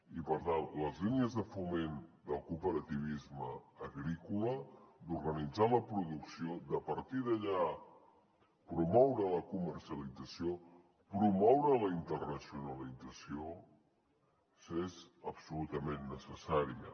i per tant les línies de foment del cooperativisme agrícola d’organitzar la producció de a partir d’allà promoure’n la comercialització promoure’n la internacionalització són absolutament necessàries